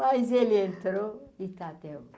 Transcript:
Mas ele entrou e está até.